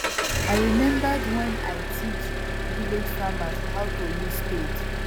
i remembered wen i teach village farmers how to use spade